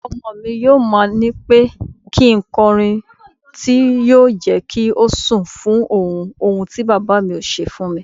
Ọmọmi yóò ma nípẹ́ kí nkọrin tí yọ jẹ́kí ó sùn fún ohun, ohun tí Bàbámi kò ṣe fúnmi.